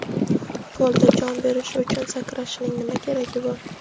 polda jon berishi uchun sakrashining nima keragi bor?.